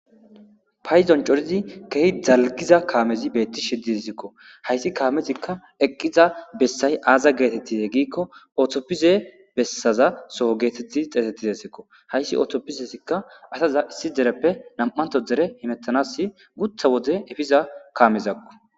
payidon corizi kehi dalgiza kaamezi beetti shiddidesikko hayssi kaamezikka eqqiza bessay aaza geetettize giikko otoppize bessaza soho geetetti xeetettize sikko hayssi ootoppisesikka asaza issi dereppe nam7anto dere himettanas gutha wode efiza kaamezakko.